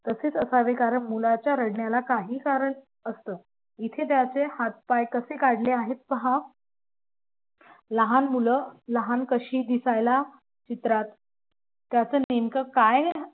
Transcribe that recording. तसेच असावे कारण मुलाच्या रडण्याला काही कारण असतं इथे त्याचे हात पाय कसे काढले आहे पहा लहान मुलं लहान कशी दिसायला चित्रात त्याचं नेमकं काय